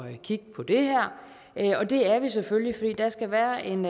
at kigge på det her og det er vi selvfølgelig fordi der skal være en